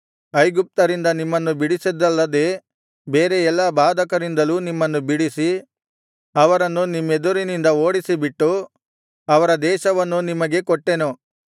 ಐಗುಪ್ತ್ಯರಿಂದ ನಿಮ್ಮನ್ನು ಬಿಡಿಸಿದ್ದಲ್ಲದೆ ಬೇರೆ ಎಲ್ಲಾ ಬಾಧಕರಿಂದಲೂ ನಿಮ್ಮನ್ನು ಬಿಡಿಸಿ ಅವರನ್ನು ನಿಮ್ಮೆದುರಿನಿಂದ ಓಡಿಸಿಬಿಟ್ಟು ಅವರ ದೇಶವನ್ನು ನಿಮಗೆ ಕೊಟ್ಟೆನು